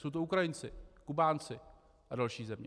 Jsou to Ukrajinci, Kubánci a další země.